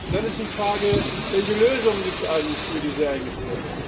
Dann ist die Frage Welche Lösung gibt es eigentlich für diese Ängste?